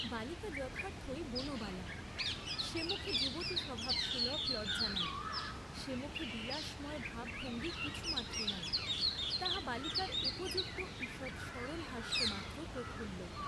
বালিকা যথার্থই বনবালা, সে মুখে যুবতীস্বভাবসুলভ লজ্জা নাই, সে মুখে বিলাসময় ভাবভঙ্গী কিছু মাত্র নাই; তাহা বালিকার উপযুক্ত ঈষৎ সরল হাস্যে মাত্র প্রফুল্ল।